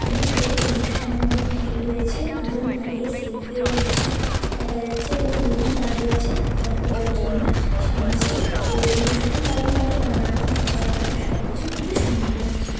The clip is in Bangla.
এবং এই অনুষ্ঠান অনেক ভিড় হয়েছে দুজন দাঁড়িয়ে সেলফি ও তুলছেন দেখা যাচ্ছে এবং দুজন দাঁড়িয়ে আছে ফটো তোলার জন্য স্বামী স্ত্রী তো অনুষ্ঠান বাড়ি মানেই নানা রকম খাবার দাবার সব কিছু খুবই সুন্দর লাগছে।